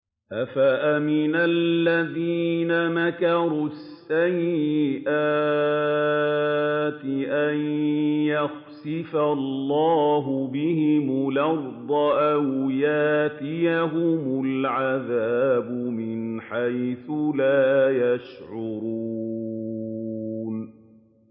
أَفَأَمِنَ الَّذِينَ مَكَرُوا السَّيِّئَاتِ أَن يَخْسِفَ اللَّهُ بِهِمُ الْأَرْضَ أَوْ يَأْتِيَهُمُ الْعَذَابُ مِنْ حَيْثُ لَا يَشْعُرُونَ